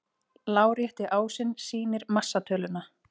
Lárétti ásinn sýnir massatöluna.